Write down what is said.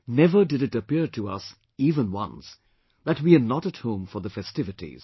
Never did it appear to us even once that we are not at home for the festivities